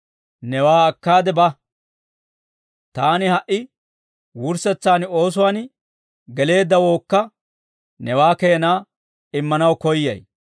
Newaa akkaade ba; taani ha"i wurssetsaan oosuwaan geleeddawookka newaa keenaa immanaw koyyay.